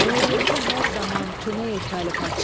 Rəiyyəti hər zaman kömək etməli padşah.